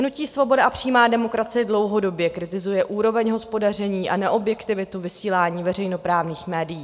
Hnutí Svoboda a přímá demokracie dlouhodobě kritizuje úroveň hospodaření a neobjektivitu vysílání veřejnoprávních médií.